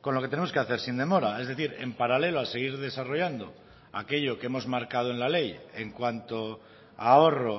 con lo que tenemos que hacer sin demora es decir en paralelo a seguir desarrollando aquello que hemos marcado en la ley en cuanto a ahorro